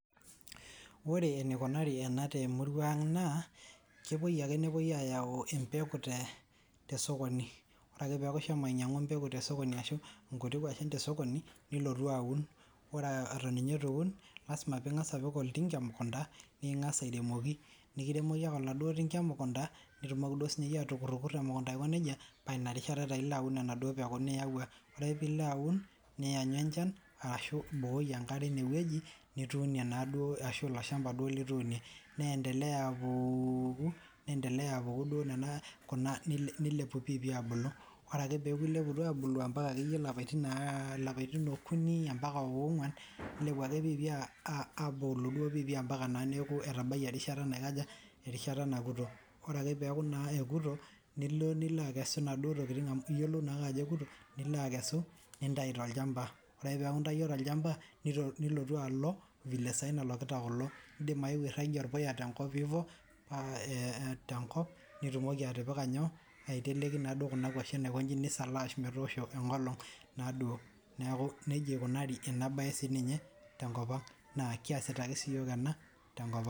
Wore enikunari ena temurua ang' naa, kepuo ake nepoi aayau empeku tosokoni. Wore ake peaku ishomo ainyiangu embeku tosokoni ashu inkutik kwashen tosokoni, nilotu aun. Wore eton ninye itu iun, lasima pee ingas apik oltinga emukunda, piikingas airemoki. Nikiremoki ake oladuo tinga emukunda, nitumoki duo sininye iyie atukutukuta emukunda aiko nejia, paa ina rishata taa ilo aun enaduo peku niyawua. Wore ake pee ilo aun, nianyu enchan arashu ibukoki enkare inewoji, nituunie naaduo ashu ilo shamba duo lituunie. Niendelea apuuku, niendelea apuku duo niana nilepu piipii abulu. Wore ake pee eaku ileputua aabulu ambaka akeyie ilapaitin aar ilapaitin okuni ambaka ogwan. Nilepu ake piipii aabulu duo piipii ambaka naa neeku etabayie erishata naikaja, erishata nakuto. Wore ake peeku naa ekuto, nilo nilo akesu inaduo tokitin amu iyiolou naake ajo ekuto, nilo akesu, nintayu tolchamba. Wore ake pee eaku intayio tolchamba, nilotu alo, vile saa hii nalokita kulo. Iindim ayewuo airragie orpuya tenkop hivyo, paa ee tenkop, nitumoki atipika inyoo, aiteleki naaduo kuna kwashen aikonyi, nisalaaash metoosho enkolong' naaduo. Neeku nejia ikunari ina baye sininye, tenkop ang'. Naa kiasita ake siyiok ena tenkop ang'.